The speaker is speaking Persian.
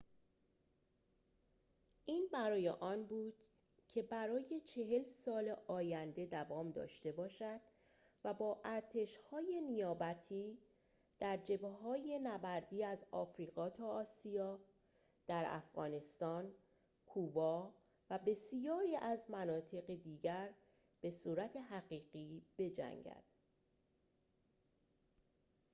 این برای آن بود که برای ۴۰ سال آینده دوام داشته باشد و با ارتش‌های نیابتی در جبهه‌های نبردی از آفریقا تا آسیا در افغانستان کوبا و بسیاری از مناطق دیگر به صورت حقیقی بجنگد